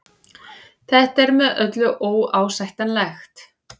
Þetta er með öllu óásættanlegt